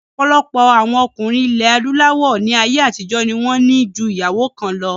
Ọ̀pọ̀lọpọ̀ àwọn ọkùnrin ilẹ̀ adúláwọ̀ ní ayé àtijọ́ ní wọ́n ní ju ìyàwó kan lọ